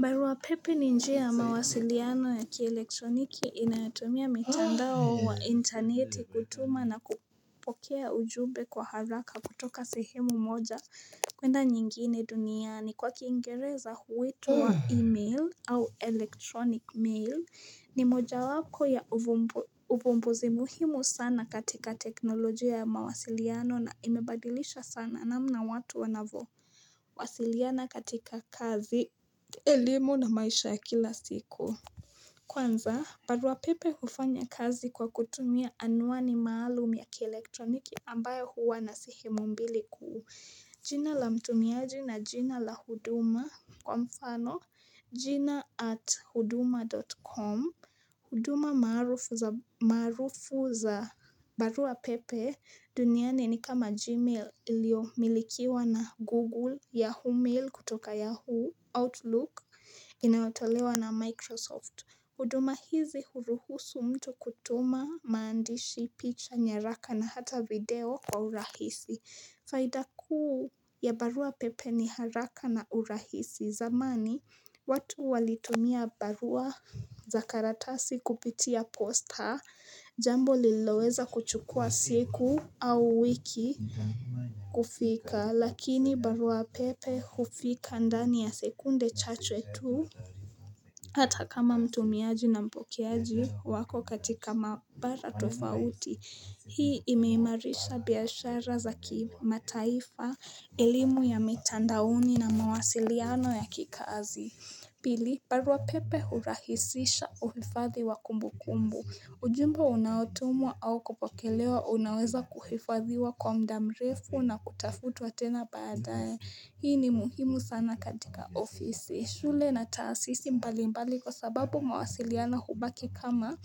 Barua pepe ni njia ya mawasiliano ya kielektroniki inatumia mitandao wa interneti kutuma na kupokea ujumbe kwa haraka kutoka sehemu moja kwenda nyingine duniani kwa kiingereza huitwa email au electronic mail ni moja wako ya uvumbuzi muhimu sana katika teknolojia ya mawasiliano na imebadilisha sana namna watu wanavo wasiliana katika kazi, ilimu na maisha ya kila siku Kwanza, barua pepe hufanya kazi kwa kutumia anuani maalum ya kelektroniki ambayo huwa na sehemu mbili kuu jina la mtumiaji na jina la huduma kwa mfano jina at huduma.com huduma maarufu za barua pepe duniani ni kama Gmail iliomilikiwa na Google ya Humil kutoka Yahoo Outlook inayotolewa na Microsoft. Huduma hizi huruhusu mtu kutuma maandishi picha nyaraka na hata video kwa urahisi. Faida kuu ya barua pepe ni haraka na urahisi zamani, watu walitumia barua za karatasi kupitia posta, jambo liloweza kuchukua siku au wiki kufika, lakini barua pepe hufika ndani ya sekunde chache tu. Hata kama mtumiaju na mpokeaji wako katika mabara tofauti, hii imeimarisha biashara za kimataifa, elimu ya mitandaoni na mawasiliano ya kikazi. Pili, barua pepe hurahisisha uhifadhi wa kumbu kumbu. Ujumbe unatumwa au kupokelewa unaweza kuhifadhiwa kwa mda mrefu na kutafutwa tena baadae. Hii ni muhimu sana katika ofisi. Shule na taasisi mbalimbali kwa sababu mawasiliano hubaki kama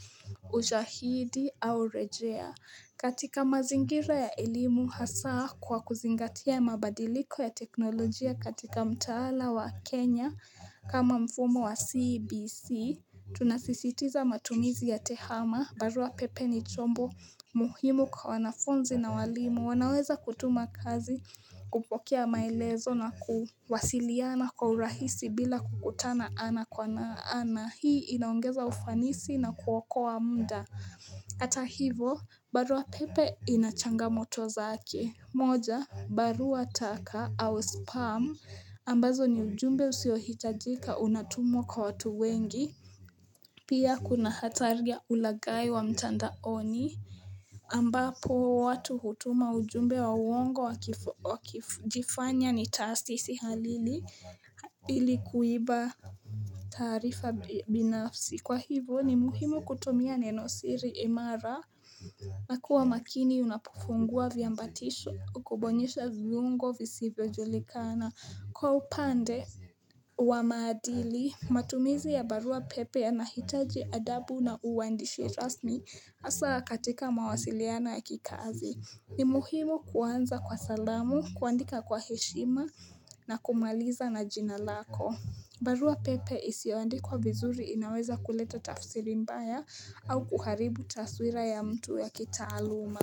ushahidi au rejea. Katika mazingira ya elimu hasaa kwa kuzingatia mabadiliko ya teknolojia katika mtaala wa Kenya kama mfumo wa CBC, tunasisitiza matumizi ya tehama, barua pepe ni chombo muhimu kwa wanafunzi na walimu, wanaweza kutuma kazi, kupokea maelezo na kuwasiliana kwa urahisi bila kukutana ana kwa na ana. Hii inaongeza ufanisi na kuokoa muda. Ata hivo barua pepe ina changamoto zake moja barua taka au spam ambazo ni ujumbe usiohitajika unatumwa kwa watu wengi Pia kuna hatari ya ulaghai wa mtandaoni ambapo watu hutuma ujumbe wa uongo wakijifanya ni taasisi halili ilikuiba taarifa binafsi Kwa hivyo ni muhimu kutumia neno siri imara na kuwa makini unapufungua viambatisho kubonyesha viungo visivyo julikana. Kwa upande wa maadili, matumizi ya barua pepe yanahitaji adabu na uandishi rasmi hasa katika mawasiliano ya kikazi. Ni muhimu kuanza kwa salamu, kuandika kwa heshima na kumaliza na jina lako. Barua pepe isioandikwa vizuri inaweza kuleta tafsiri mbaya au kuharibu taswira ya mtu ya kitaaluma.